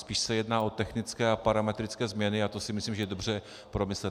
Spíš se jedná o technické a parametrické změny a to si myslím, že je dobře promyslet.